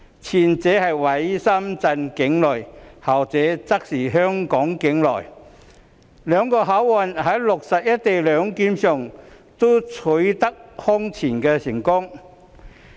前者位於深圳境內，後者則在香港境內，兩個口岸在落實"一地兩檢"上均空前成功。